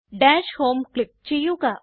dash home click ചെയ്യുക